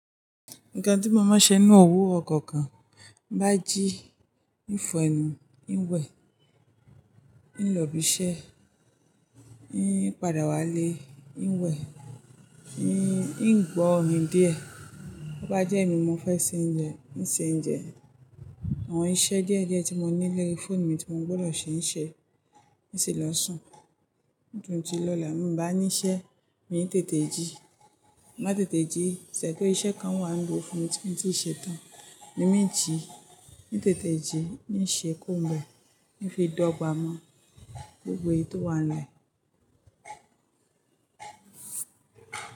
Nǹkan tí mo máa ń ṣe nínú òwurò kọ̀ọ̀kan, bá jí, ó ń fọ̀ ẹnu, ó ń wẹ̀, ó ń lọ ibi iṣẹ́, ó ń padà wá lé, ó ń wẹ̀, ó ń gbọ́ orin díẹ̀. Bo bá jẹ́mi mo fẹ́ se oúnjẹ, ó ń se oúnjẹ. Àwọn iṣẹ́ díẹ̀díẹ̀ tí mo ní lórí fóònù mi tí mo gbọdọ̀ ṣe ń ṣe, n sì lọ sùn. Ní ìdójú lọ́la, mo bá níṣẹ́, mi ń tètè jí. Má tètè jí, ṣẹ̀ tó iṣẹ́ kan wà níbo fún mi tí mo ti ṣe tán, ni mo ń jí, mo ń tètè jí, mo ń ṣe kó mọ́, mo ń fi dọ̀gba mọ́ gbogbo ètò wa lẹ́yìn.